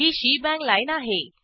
ही shebang line आहे